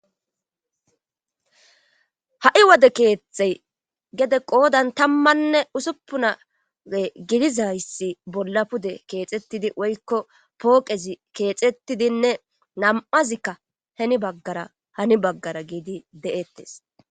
Ha'i wode keettey gede qoodan tammanne usuppunae gidizayssi bolla pude keexettidi woykko pooqezi keexettidinne nam'azikka heni baggara hani baggara giidi de'ettes.